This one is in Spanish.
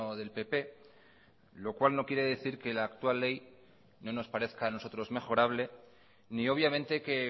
del pp lo cual no quiere decir que la actual ley no nos parezca a nosotros mejorable ni obviamente que